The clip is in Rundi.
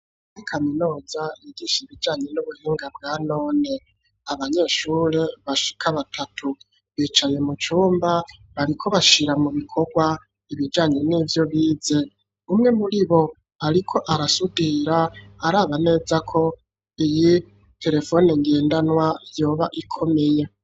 Uri kaminuza yigisha ibijanye nubuhinga bwanone abanyeshure bashika batatu bicaye mu cumba bariko bashira mu bikorwa ibijanye n'ivyo bize umwe muri bo ariko arasudira araba neza ko iyi terefoni ngendanwa yoba ikomeye.